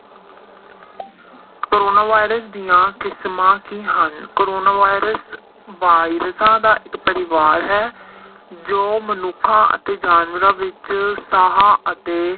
Corona virus ਦੀਆਂ ਕਿਸ਼ਮਾਂ ਕੀ ਹਨ? ਕੋਰੋਨਾ ਵਾਇਰਸ ਵਾਇਰਸਾਂ ਦਾ ਇੱਕ ਪਰਿਵਾਰ ਹੈ ਜੋ ਮਨੁੱਖਾਂ ਅਤੇ ਜਾਨਵਰਾਂ ਵਿੱਚ ਸਾਹਾਂ ਅਤੇ